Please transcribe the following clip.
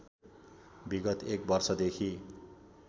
विगत एक वर्षदेखि